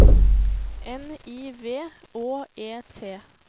N I V Å E T